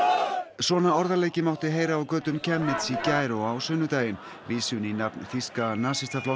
svona orðaleiki mátti heyra á götum Chemnitz í gær og á sunnudaginn vísun í nafn þýska nasistaflokksins